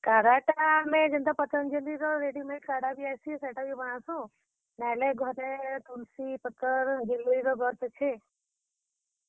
କାଢା ଟା ଆମେ ଯେନ୍ତା ପତଞ୍ଜଲି ର ready made କାଢା ବି ଆଏସି ସେଟା ବି ବନାସୁଁ, ନାହେଲେ ଘରେ ତୁଲ୍ ସି ପତର୍, ଗିଲୋଇ ର ଗଛ ଅଛେ।